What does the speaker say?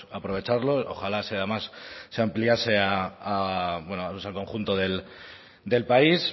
aprovecharlo ojalá además se ampliase a bueno pues al conjunto del país